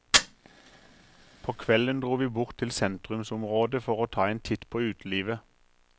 På kvelden dro vi bort til sentrumsområdet for å ta en titt på utelivet.